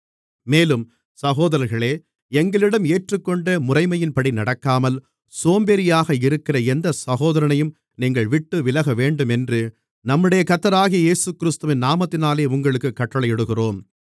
மேலும் சகோதரர்களே எங்களிடம் ஏற்றுக்கொண்ட முறைமையின்படி நடக்காமல் சோம்பேறியாக இருக்கிற எந்தச் சகோதரனையும் நீங்கள் விட்டுவிலகவேண்டுமென்று நம்முடைய கர்த்தராகிய இயேசுகிறிஸ்துவின் நாமத்தினாலே உங்களுக்குக் கட்டளையிடுகிறோம்